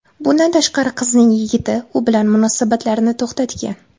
Bundan tashqari, qizning yigiti u bilan munosabatlarini to‘xtatgan.